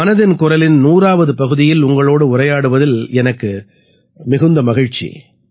மனதின் குரலின் 100ஆவது பகுதியில் உங்களோடு உரையாடுவதில் எனக்கு மிகுந்த மகிழ்ச்சி